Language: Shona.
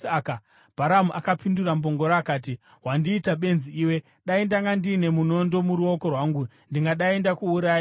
Bharamu akapindura mbongoro akati, “Wandiita benzi iwe! Dai ndanga ndiine munondo muruoko rwangu ndingadai ndakuuraya izvozvi.”